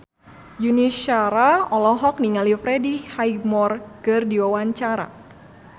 Yuni Shara olohok ningali Freddie Highmore keur diwawancara